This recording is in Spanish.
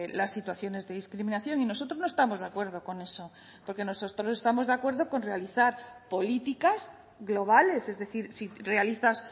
las situaciones de discriminación y nosotros no estamos de acuerdo con eso porque nosotros estamos de acuerdo con realizar políticas globales es decir si realizas